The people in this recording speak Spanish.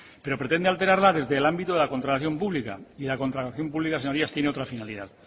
pero pretende alterarla desde el ámbito de la contratación pública y la contratación pública señorías tiene otra finalidad